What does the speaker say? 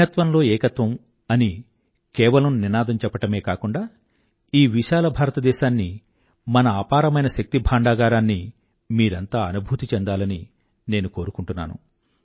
భిన్నత్వం లో ఏకత్వం అనే కేవలం నినాదం చెప్పడం కాకుండా ఈ విశాల భారత దేశాన్ని మన అపారమైన శక్తి భాండాగారాన్నీ మీరంతా అనుభూతి చెందాలని నేను కోరుకుంటున్నాను